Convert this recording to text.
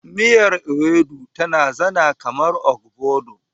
Miyar Ewedu tana zana kamar ogbono.